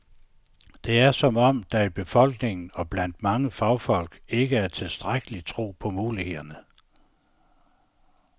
Det er som om, der i befolkningen og blandt mange fagfolk ikke er tilstrækkelig tro på mulighederne.